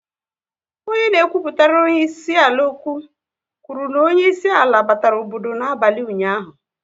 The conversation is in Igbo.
Onye na ekwupụtere onyeisi ala okwu, kwuru na onyeisi ala batara obodo n'abalị ụnyaahụ